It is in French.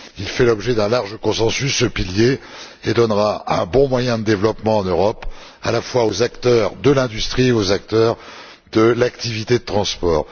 Ce pilier fait l'objet d'un large consensus et donnera un bon moyen de développement en Europe à la fois aux acteurs de l'industrie et aux acteurs de l'activité de transport.